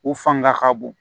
U fanga ka bon